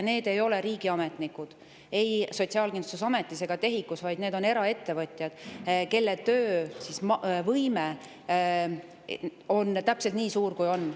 Need ei ole ei Sotsiaalkindlustusametis ega TEHIK‑us riigiametnikud, vaid need on eraettevõtjad, kelle töövõime on täpselt nii suur, kui see on.